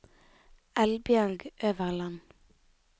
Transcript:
Eldbjørg Øverland